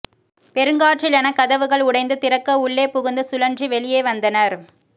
பெருங்காற்றிலென கதவுகள் உடைந்து திறக்க உள்ளே புகுந்து சுழன்று வெளியே வந்தனர்